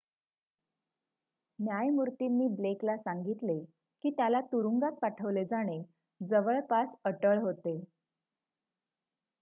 "न्यायमूर्तीनी Blake ला सांगितले की त्याला तुरुंगात पाठवले जाणे "जवळपास अटळ" होते.